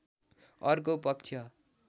अर्को पक्ष